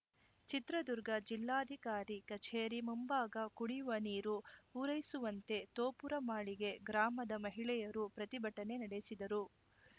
ಚಿತ್ರದುರ್ಗ ಜಿಲ್ಲಾಧಿಕಾರಿ ಕಚೇರಿ ಮುಂಭಾಗ ಕುಡಿಯುವ ನೀರು ಪೂರೈಸುವಂತೆ ತೋಪುರಮಾಳಿಗೆ ಗ್ರಾಮದ ಮಹಿಳೆಯರು ಪ್ರತಿಭಟನೆ ನಡೆಸಿದರು